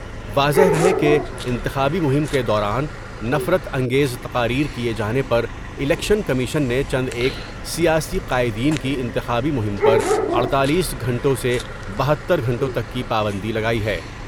واضح رہے کہ انتخابی مہم کے دوران نفرت انگیز تقاری کئے جانے پر الیکشن کمیشن نے چند ایک سیاسی قائدین کی انتخابی مہم پر اڑتالیس گھنٹوں سے بہتر گھنٹوں تک کی پابندی لگائی ہے ۔